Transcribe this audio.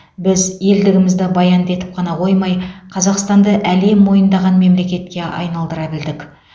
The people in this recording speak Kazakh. біз елдігімізді баянды етіп қана қоймай қазақстанды әлем мойындаған мемлекетке айналдыра білдік